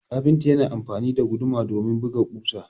kafinta yana amfani da guduma domin buga kusa